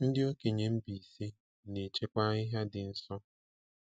Ndị okenye Mbaise na-echekwa ahịhịa dị nsọ.